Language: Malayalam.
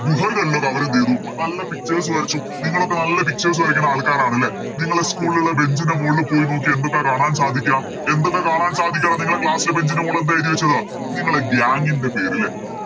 ഗുഹകളിലെല്ലാം അവരെന്തേയ്‌തു നല്ല Pictures വരച്ചു നിങ്ങളൊക്കെ നല്ല Pictures വരക്കണ ആൾക്കാരണല്ലേ നിങ്ങള് School ലെ Bench ൻറെ മോള് പോയി നോക്ക് എന്തൊക്കെയാ കാണാൻ സാധിക്കാ എന്തൊക്കെയാ കാണാൻ സാധിക്കടോ നിങ്ങളെ Class ൻറെ Bench ൻറെ മോള് എന്താ എയ്തി വെച്ചത് നിങ്ങളെ Gang പേര് ലെ